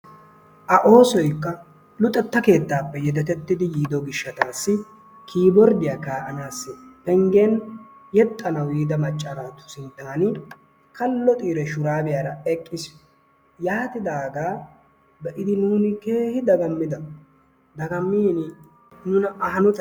A oosoykka luxxetta keettaappe yeedetettidi yiido giishshatassi kiborddiyaa ka"aanawu penggen yeexxanawu yiida macca naatu sinttan kaallo xiiri shuraabiyaara eqqiis. Yaatidaaga be'iidi nuuni keehi daagammida. Dagamiini nuna a haanotay